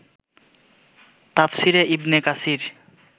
তাফসিরে ইবনে কাসির